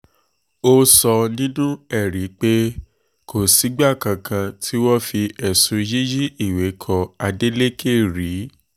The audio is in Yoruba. ó sọ nínú ẹ̀rí rẹ̀ pé kò sígbà kankan tí wọ́n fi ẹ̀sùn yíyí ìwé kan adeleke rí